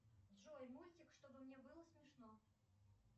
джой мультик чтобы мне было смешно